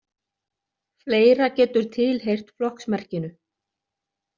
Fleira getur tilheyrt flokksmerkinu.